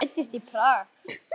Hann fæddist í Prag.